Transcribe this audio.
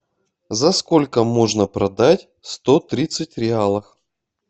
за сколько можно продать сто тридцать реалов